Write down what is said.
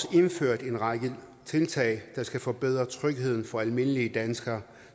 vi indført en række tiltag der skal forbedre trygheden for almindelige danskere